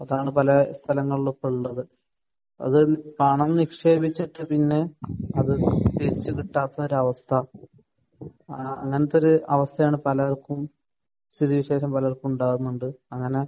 അതാണ്. പല സ്ഥലങ്ങളിലും ഇപ്പോൾ ഉണ്ട് അത്. അത് പണം നിക്ഷേപിച്ചിട്ട് പിന്നെ അത് തിരിച്ച് കിട്ടാത്ത ഒരു അവസ്ഥ. അങ്ങനത്തെയൊരു അവസ്ഥയാണ് പലർക്കും സ്ഥിതിവിശേഷങ്ങൾ പലർക്കും ഉണ്ടാകുന്നുണ്ട്. അങ്ങനെ